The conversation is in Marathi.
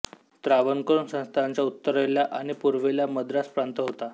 त्रावणकोर संस्थानाच्या उत्तरेला आणि पूर्वेला मद्रास प्रांत होता